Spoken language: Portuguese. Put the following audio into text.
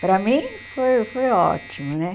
Para mim, foi foi ótimo, né?